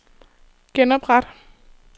genopret